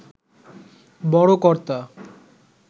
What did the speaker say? বড় কর্তা